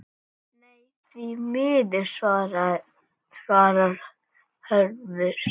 Nei, því miður svarar Hörður.